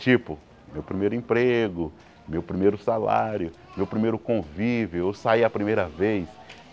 Tipo, meu primeiro emprego, meu primeiro salário, meu primeiro convívio, eu saí a primeira vez.